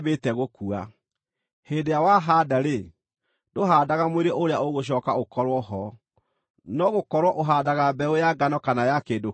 Hĩndĩ ĩrĩa wahaanda-rĩ, ndũhaandaga mwĩrĩ ũrĩa ũgũcooka ũkorwo ho, no gũkorwo ũhaandaga mbeũ ya ngano kana ya kĩndũ kĩngĩ.